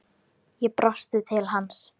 Ég brosi til hans.